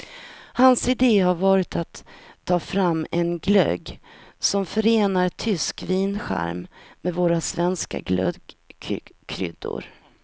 Hans ide har varit att ta fram en glögg som förenar tysk vincharm med våra svenska glöggkryddor.